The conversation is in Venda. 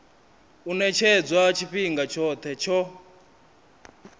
u ṅetshedzwa tshifhinga tshoṱhe tsho